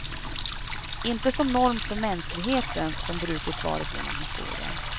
Inte som norm för mänskligheten, som brukligt varit genom historien.